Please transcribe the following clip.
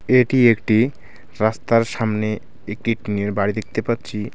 এটি একটি রাস্তার সামনে একটি টিনের বাড়ি দেখতে পাচ্ছি .